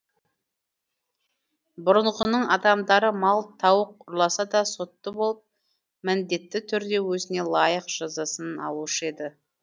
бұрынғының адамдары мал тауық ұрласа да сотты болып міндетті түрде өзіне лайық жазасын алушы еді